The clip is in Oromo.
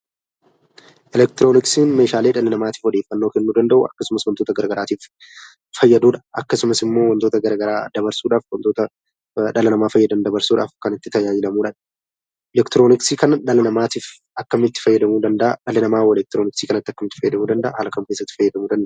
Elektirooniksiin meeshaalee dhala namaatiif odeeffannoo kennuu danda'u, akkasumas wantoota gara garaatiif fayyadu dha. Akkasumas immoo wantoota gara garaa dabarsuudhaaf wantoita dhala namaa fayyadan dabarsuudhaaf jan itti tajaajilamnu dha. Elektirooniksii kana dhala namaatiif akkamitti fayyaduu danda'a? Dhalli namaa hoo elekitrooniksii kana akkamitti fayyadamuu danda'a? Haala kam keessatti fayyadamuu danda'a?